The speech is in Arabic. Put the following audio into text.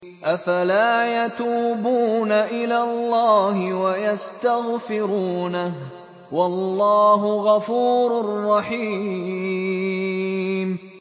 أَفَلَا يَتُوبُونَ إِلَى اللَّهِ وَيَسْتَغْفِرُونَهُ ۚ وَاللَّهُ غَفُورٌ رَّحِيمٌ